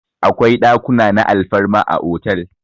Akwai ɗakuna na alfarma a otal.